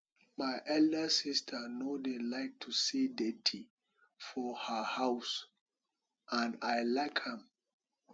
my elder sister no dey like to see dirty for her house and i like am